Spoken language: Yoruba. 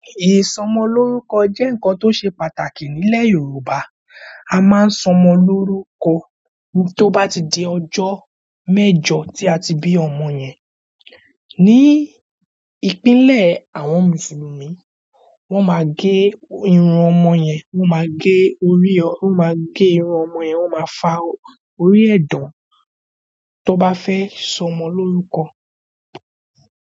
Ìsọmọlórúkọ jẹ́ ǹkan tó ṣe pàtàkì nílẹ̀ Yorùbá. A máa ń sọmọ lórúkọ tó bá ti di ọjọ́ mẹ́jọ tí a ti bí ọmọ yẹn. Ni ìpínlẹ̀ àwọn Mùsùlùmí, wọ́n ma ge irun ọmọ yẹn, wọ́n ma ge orí, wọ́n ma ge irun ọmọ yẹn, wọ́n ma fa orí ẹ̀ dán tó bá fẹ́ sọmọ lórúkọ.